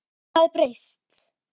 Lífið hafði breyst.